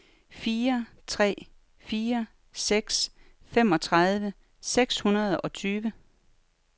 fire tre fire seks femogtredive seks hundrede og tyve